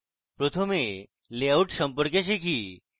প্রথমে layout সম্পর্কে শিখি